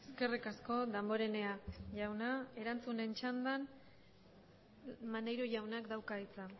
eskerrik asko damborenea jauna erantzunen txandan maneiro jaunak dauka hitza